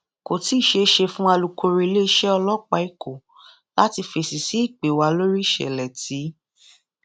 kò tí ì ṣeé ṣe fún alūkkóró iléeṣẹ ọlọpàá èkó láti fèsì sí ìpè wa lórí ìṣẹlẹ tíì